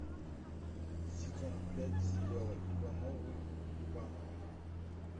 сезон пять сериала ивановы ивановы